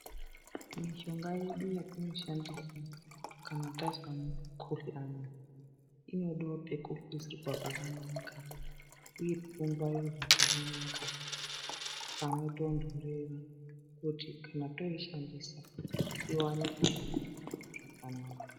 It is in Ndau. Mishonga yedu yetinoshandisa kana tazwa mukhoyani, inoda pekuisirwa pakanaka uye yongwarirwa pakanaka pano tondorera uye kuti toishandisa iwane kushanda zvakanaka.